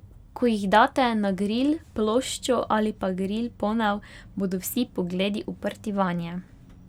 Ko jih date na gril ploščo ali pa gril ponev, bodo vsi pogledi uprti vanje.